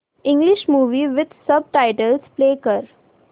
English movie with subtitles play कर